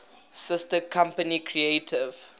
sister company creative